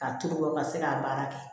K'a turu ka se ka baara kɛ